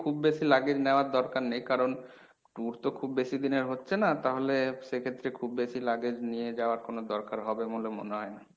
খুব বেশি luggage নেওয়ার দরকার নেই কারণ tour তো খুব বেশিদিনের হচ্ছে না তাহলে সেক্ষেত্রে খুব বেশি luggage নিয়ে যাওয়ার কোনো দরকার হবে বলে মনে হয় না।